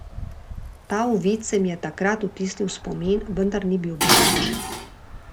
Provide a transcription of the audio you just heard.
Ta uvid se mi je takrat vtisnil v spomin, vendar ni bil boleč.